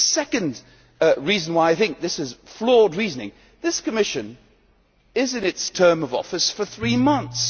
The second reason why I think this is flawed reasoning is that this Commission has been in its term of office for three months.